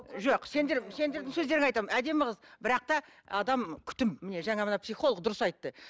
жоқ сендер сендердің сөздеріңді айтамын әдемі қыз бірақ та адам күтім міне жаңа мына психолог дұрыс айтты